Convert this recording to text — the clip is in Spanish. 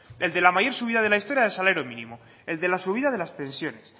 el de la mayor subida de la historia del salario mínimo el de la subida de las pensiones